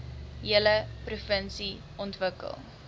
hele provinsie ontwikkel